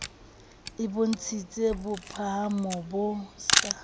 e bontshitse bophahamo bo sa